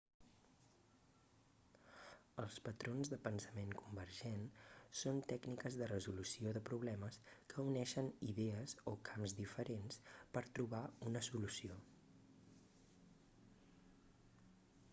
els patrons de pensament convergent són tècniques de resolució de problemes que uneixen idees o camps diferents per trobar una solució